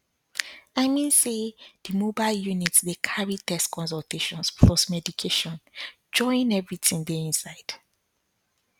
i mean say the mobile units dey carry tests consultations plus medication join everything dey inside